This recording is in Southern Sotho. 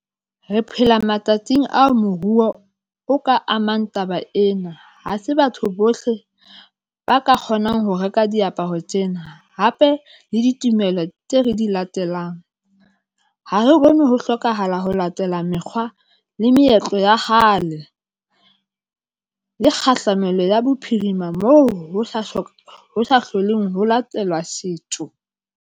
Re phela matsatsing ao moruo o ka amang taba ena. Ha se batho bohle ba ka kgonang ho reka diaparo tsena, hape le ditumelo tse re di latelang. Ha re bone ho hlokahala ho latela mekgwa le meetlo ya kgale. Le kgahlamelo ya bophirima, moo ho ho sa hloleng ho latelwa setho.